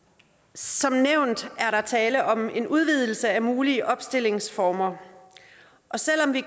som nævnt er der tale om en udvidelse af mulige opstillingsformer og selv om vi